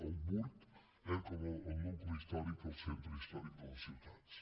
el burg com a nucli històric el centre històric de les ciutats